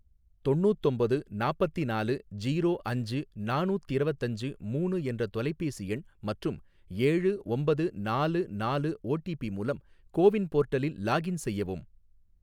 தொண்ணூத்தொம்போது நாப்பத்திநாலு ஜீரோ அஞ்சு நானூத்திரவத்தஞ்சு மூனு என்ற தொலைபேசி எண் மற்றும் ஏழு ஒம்பது நாலு நாலு ஓடிபி மூலம் கோவின் போர்ட்டலில் லாகின் செய்யவும்.